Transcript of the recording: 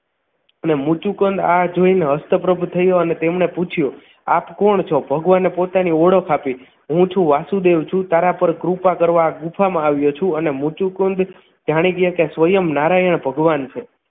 અને મુત્સુકન આ જોઈને હસ્તપ્રદ તેમણે પૂછ્યું આપ કોણ છો ભગવાને પોતાની ઓળખ આપી હું છું વાસુદેવ છું. તારા પર કૃપા કરવા આ ગુફામાં આવ્યો છું અને મુત્સુકન જાણી ગયા કે સ્વયં નારાયણ ભગવાન છે